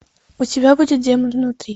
у тебя будет демон внутри